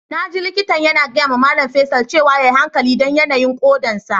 Na ji likitan yana gaya ma Mallam Faisal cewa ya yi hankali dan yanayin kodan sa.